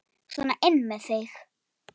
Sona inn með þig!